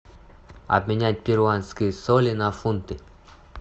обменять перуанские соли на фунты